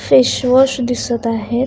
Face wash दिसत आहे.